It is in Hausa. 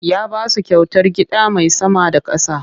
Ya ba su kyautar gida mai sama da ƙasa.